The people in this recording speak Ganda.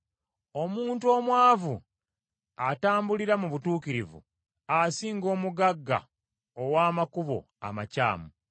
Omuntu omwavu atambulira mu butuukirivu, asinga omugagga ow’amakubo amakyamu.